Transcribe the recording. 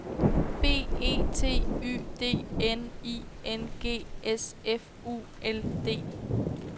B E T Y D N I N G S F U L D